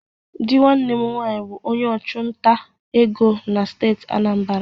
Di nwanne m nwanyi bụ onye ọchụnta ego na steeti Anambra.